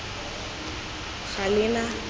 galena